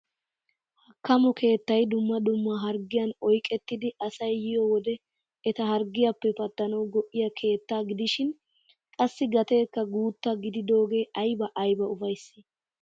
Hakkamo keettay dumma dumma harggiyaan oyqettidi asay yiyo wode eta harggiyaappe pattanawu go"iyaa keettaa gidishin qassi gaatekka guutta gididaagee ayba ayba ufayssii!